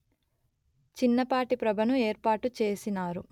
చిన్నపాటి ప్రభను ఏర్పాటుచేసినారు